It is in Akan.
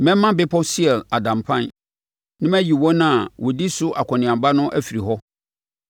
Mɛma bepɔ Seir ada mpan, na mayi wɔn a wɔdi so akɔneaba no afiri hɔ.